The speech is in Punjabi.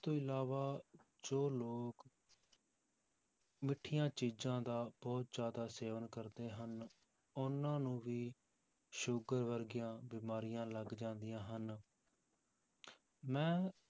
ਤੋਂ ਇਲਾਵਾ ਜੋ ਲੋਕ ਮਿੱਠੀਆਂ ਚੀਜ਼ਾਂ ਦਾ ਬਹੁਤ ਜ਼ਿਆਦਾ ਸੇਵਨ ਕਰਦੇ ਹਨ, ਉਹਨਾਂ ਨੂੰ ਵੀ ਸ਼ੂਗਰ ਵਰਗੀਆਂ ਬਿਮਾਰੀਆਂ ਲੱਗ ਜਾਂਦੀਆਂ ਹਨ ਮੈਂ